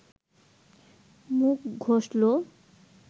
মুখ ঘষল